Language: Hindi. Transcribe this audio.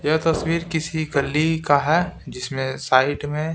यह तस्वीर किसी गली का है जिसमें साइड में--